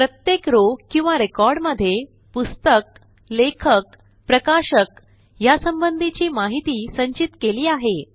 प्रत्येक रॉव किंवा रेकॉर्ड मध्ये पुस्तक लेखक प्रकाशक ह्यासंबंधीची माहिती संचित केली आहे